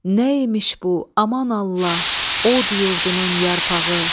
Nə imiş bu, aman Allah, od yurdunun yarpağı?